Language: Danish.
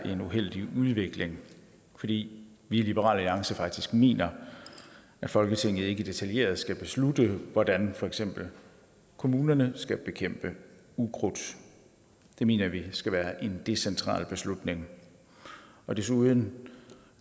er en uheldig udvikling fordi vi i liberal alliance faktisk mener at folketinget ikke detaljeret skal beslutte hvordan for eksempel kommunerne skal bekæmpe ukrudt det mener vi skal være en decentral beslutning desuden